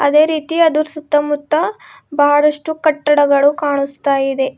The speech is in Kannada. ಅದೇ ರೀತಿ ಅದರ ಸುತ್ತಮುತ್ತ ಬಹಳಷ್ಟು ಕಟ್ಟಡಗಳು ಕಾಣುಸ್ತಾಯಿದೆ.